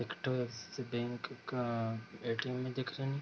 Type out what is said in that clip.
एकठो Axis Bank का ATM. में दिख रहें हैं।